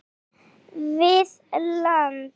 hér við land.